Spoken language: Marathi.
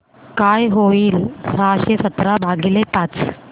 काय होईल सहाशे सतरा भागीले पाच